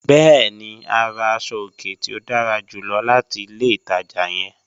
Bẹ̀ẹ̀ni, a rà àṣọ-ọ̀kẹ̀ tí o dára júlọ̀ láti ilẹ̀ ìtaja yẹ̀n.